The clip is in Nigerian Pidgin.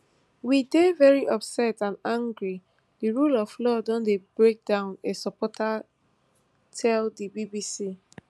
we dey veri upset and angry di rule of law don dey broken down a supporter tell di bbc